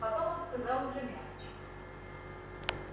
потом он сказал уже мягче